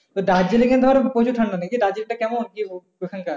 তো দার্জিলিং এ ধর প্রচুর ঠান্ডা থাকে। কি দার্জিলিং টা কেমন? কি ওখানকার?